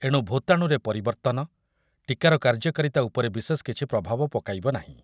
ଏଣୁ ଭୂତାଣୁରେ ପରିବର୍ତ୍ତନ, ଟୀକାର କାର୍ଯ୍ୟକାରିତା ଉପରେ ବିଶେଷ କିଛି ପ୍ରଭାବ ପକାଇବ ନାହିଁ ।